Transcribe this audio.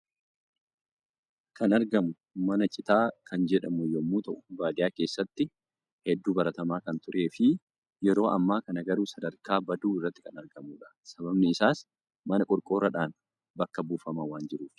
Kan argamu mana Citaa kan jedhamu yommuu ta'u baadiyyaa keessatti hedduu baratamaa kan turee fi yeroo ammaa kana garuu sadarkaa baduu irratti kan argamudha. Sababni isaas mana qorqoorroodhaan bakka buufamaa waan jiruufi.